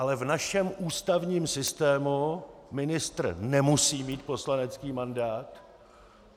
Ale v našem ústavním systému ministr nemusí mít poslanecký mandát.